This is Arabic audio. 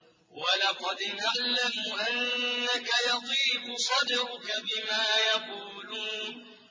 وَلَقَدْ نَعْلَمُ أَنَّكَ يَضِيقُ صَدْرُكَ بِمَا يَقُولُونَ